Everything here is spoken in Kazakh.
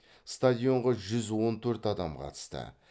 стадионға жүз он төрт адам қатысты